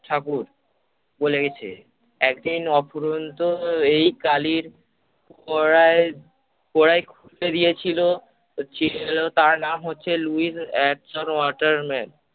ঠাকুর বলেছে একদিন অফুরন্ত এই কালির পোরাই পোরাই খুজতে দিয়েছিল ছিল তার নাম হচ্ছে লুইস এটসন ওয়াটারম্যান।